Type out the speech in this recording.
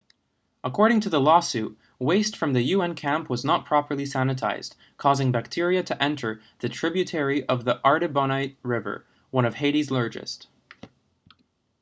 according to the lawsuit waste from the un camp was not properly sanitized causing bacteria to enter the tributary of the artibonite river one of haiti's largest